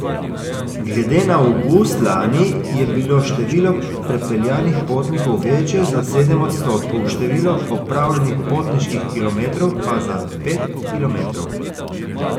Glede na avgust lani je bilo število prepeljanih potnikov večje za sedem odstotkov, število opravljenih potniških kilometrov pa za pet kilometrov.